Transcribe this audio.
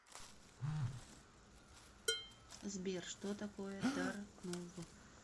сбер что такое тарнув